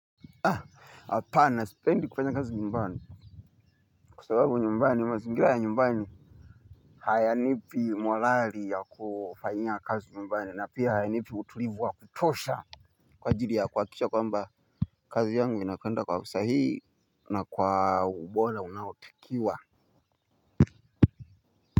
Hapana, sipendi kufanya kazi nyumbani. Kwa sababu nyumbani, mazingira ya nyumbani hayanipi morali ya kufanyia kazi nyumbani na pia hayanipi utulivu wa kutosha. Kwa jiri ya kuhakisha kwamba kazi yangu inakwenda kwa usahihi na kwa ubora unaotikiwa.